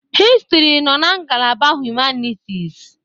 Historị nọ na ngalaba Humanitis.